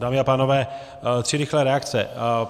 Dámy a pánové, tři rychlé reakce.